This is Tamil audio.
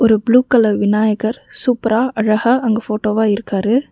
ஒரு புளூ கலர் விநாயகர் சூப்பரா அழகா அங்கு ஃபோட்டோவா இருக்காரு.